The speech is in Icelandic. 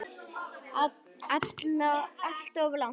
Alltof langt.